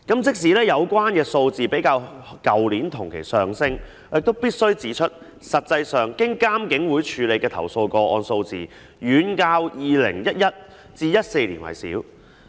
即使有關數字較去年同期上升，但我必須指出，實際上經監警會處理的投訴個案數字遠較2011年至2014年為少。